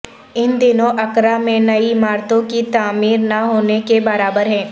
ان دنوں اکرا میں نئی عمارتوں کی تعمیر نہ ہونے کے برابر ہے